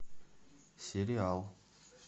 сериал